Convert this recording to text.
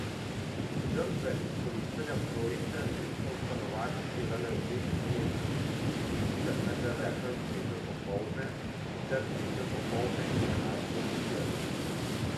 Žrtve izkoriščanja trojice so v stanovanjih delale v dveh izmenah, in sicer med deveto in tretjo popoldne ter tretjo popoldne in enajsto zvečer.